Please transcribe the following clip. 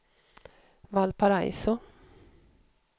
Valparaiso